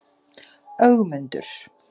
Ögmundur